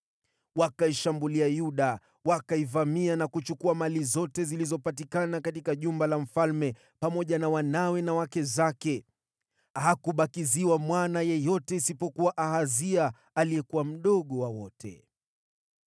Wakaishambulia Yuda, wakaivamia na kuchukua mali zote zilizopatikana katika jumba la mfalme pamoja na wanawe na wake zake. Hakubakiziwa mwana yeyote isipokuwa Ahazia aliyekuwa mdogo wa wote.